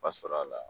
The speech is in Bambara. Ba sɔrɔ a la